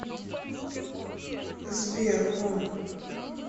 сбер хоум